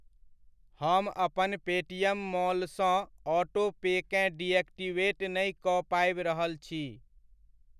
हम अपन Paytm mall सँ ऑटो पेकेँ डिएक्टिवेट नहि कऽ पाबि रहल छी।